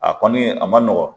A kɔni a ma nɔgɔn